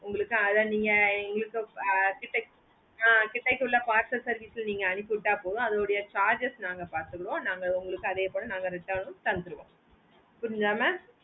உங்களுக்காக இங்க கிட்டக்குள்ள parcel service நீங்க அனுப்பிவிட போதும் அதோட charges நாங்க பத்துக்குறோம் நாங்க உங்களுக்கு அதே போல நாங்க return னும் தந்துருவோம் புரிஞ்சிதா mam